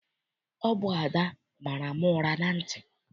Ọ bụ Ada mara m ụra na ntị.